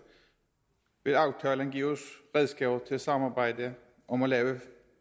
vil aftalen give os redskaber til et samarbejde om at lave